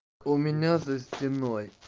у меня за стеной